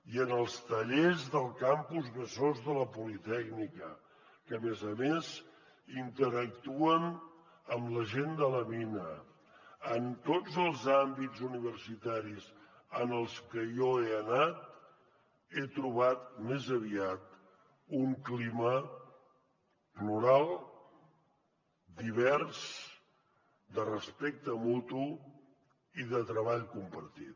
i en els tallers del campus besòs de la politècnica que a més a més interactuen amb la gent de la mina en tots els àmbits universitaris en els que jo he anat he trobat més aviat un clima plural divers de respecte mutu i de treball compartit